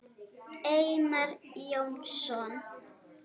Einar Jónsson